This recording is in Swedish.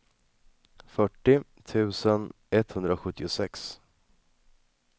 fyrtio tusen etthundrasjuttiosex